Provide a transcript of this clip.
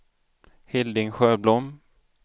Hilding Sjöblom